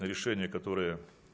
решение которое